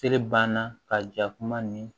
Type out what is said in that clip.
Sele ban na ka ja kuma ni